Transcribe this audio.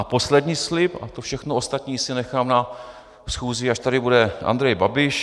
A poslední slib - a to všechno ostatní si nechám na schůzi, až tady bude Andrej Babiš.